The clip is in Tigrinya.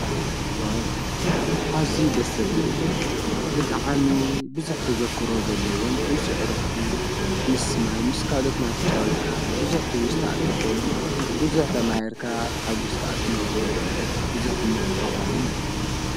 ዋ ዓዙይ ደሰብልን ብጠዓሚ ብዙኅ ተዘክሮ ዘለዎን ምስዕርኽቲ ምስማይ ምስ ካሎኦትናተጨወትካ ብዙኅቲ ውሥታዕ እትረኾሉን ብዙኅቲ ማይርካ ተሓጕሥካ እትነውረሉን ብዙኅ ትምህርቲ ትረኾሉን እዩ።